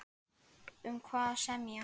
Um hvað á að semja?